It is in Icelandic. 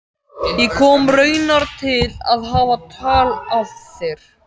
Ég kom raunar til að hafa tal af þér.